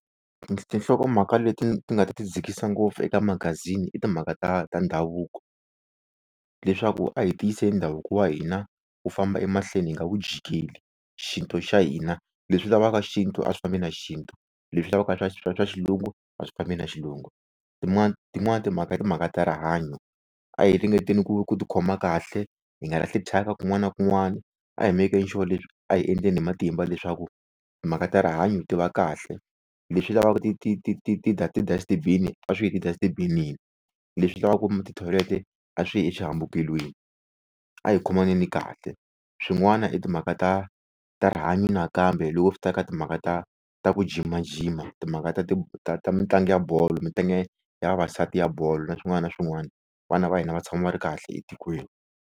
Tinhlokomhaka leti ndzi nga ti dzikisa ngopfu eka magazini i timhaka ta ta ndhavuko leswaku a hi tiyiseni ndhavuko wa hina wu famba emahlweni hi nga wu jikeli, xintu xa hina leswi lavaka xintu a swi fambi na xintu leswi lavaka swa xilungu a swi fambi na xilungu, tin'wana tin'wana timhaka i timhaka ta rihanyo a hi ringeteni ku ku ti khoma kahle hi nga lahli tyhaka kun'wana na kun'wana a hi make-eni sure leswi a hi endleni hi matimba leswaku timhaka ta rihanyo ti va kahle leswi lavaka ti ti ti ti ti ti-dust bin-i a swi yi eti-dust bin-ini, leswi lavaka ti-toilet-e a swi yi eswihambukelweni a hi khomaneni kahle swin'wana i timhaka ta ta rihanyo nakambe loko swi ta eka timhaka ta ta ku jimajima, timhaka ta ti ta ta mitlangu ya bolo ya vavasati ya bolo na swin'wana na swin'wana vana va hina va tshama va ri kahle etikweni.